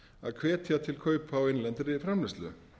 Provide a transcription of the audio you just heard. að hvetja til kaupa á innlendri framleiðslu